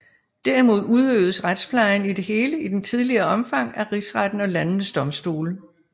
Derimod udøvedes retsplejen i det hele i det tidligere omfang af rigsretten og landenes domstole